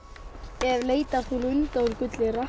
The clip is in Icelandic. ef leita þú lunda úr gulli